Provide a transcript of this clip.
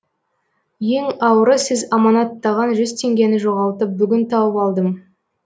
ең ауыры сіз аманаттаған жүз теңгені жоғалтып бүгін тауып алдым